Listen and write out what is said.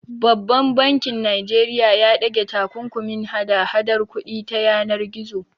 Babban bankin Najeriya ya ɗage takunkumin hada hadar kuɗi ta yanar gizo.